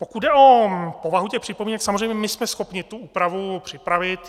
Pokud jde o povahu těch připomínek, samozřejmě my jsme schopni tu úpravu připravit.